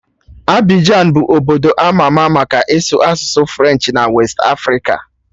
Abịjan bụ obdo ama ama maka ịsụ asụsụ Frenchị na westị Afrịka